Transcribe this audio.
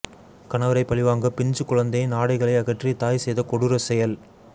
கணவரை பழிவாங்க பிஞ்சுக்குழந்தையின் ஆடைகளை அகற்றி தாய் செய்த கொடூர செயல்